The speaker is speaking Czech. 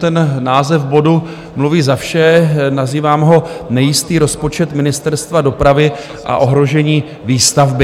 Ten název bodu mluví za vše, nazývám ho Nejistý rozpočet Ministerstva dopravy a ohrožení výstavby.